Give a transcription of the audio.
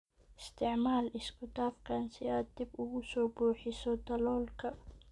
Isticmaal isku dhafkan si aad dib ugu buuxiso daloolka.